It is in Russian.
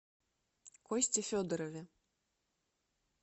косте федорове